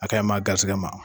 A ka ɲi maa garisɛgɛ ma